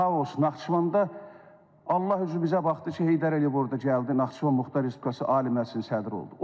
Xaos Naxçıvanda, Allah üzü bizə baxdı ki, Heydər Əliyev orda gəldi, Naxçıvan Muxtar Respublikası Ali Məclisinin sədri oldu.